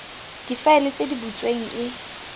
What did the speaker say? difaele tse di butsweng e